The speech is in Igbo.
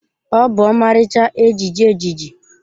Ọ bụ ọmarịcha ejiji ejiji.